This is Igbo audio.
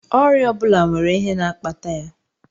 Ọrịa ọ bụla nwere ihe na-akpata ya